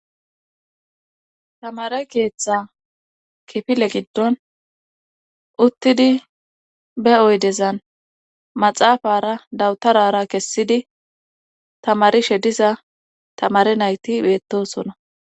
tamare keeththa kifile giddon uttidi be oydezan maxaafara dawutarara kessidi tamarishediza tamare nayti beettosona